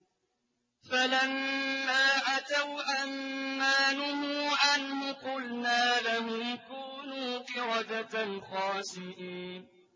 فَلَمَّا عَتَوْا عَن مَّا نُهُوا عَنْهُ قُلْنَا لَهُمْ كُونُوا قِرَدَةً خَاسِئِينَ